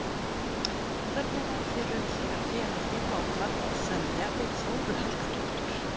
Hvernig varð þér um þegar félagið ákvað að semja við Þóru Helgadóttur?